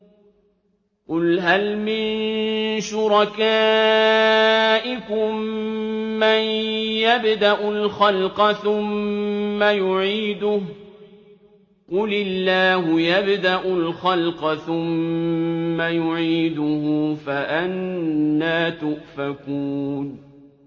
قُلْ هَلْ مِن شُرَكَائِكُم مَّن يَبْدَأُ الْخَلْقَ ثُمَّ يُعِيدُهُ ۚ قُلِ اللَّهُ يَبْدَأُ الْخَلْقَ ثُمَّ يُعِيدُهُ ۖ فَأَنَّىٰ تُؤْفَكُونَ